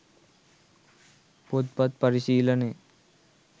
පොත්පත් පරිශීලනය